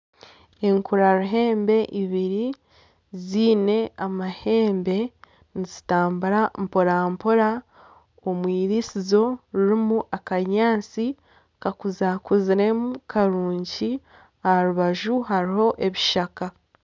Enkura ruhembe ibiri ziine amahembe nizitambura mporampra omu irisizo ririmu akanyaatsi kakuza kuziremu karungi aha rubaju hariho ebishaka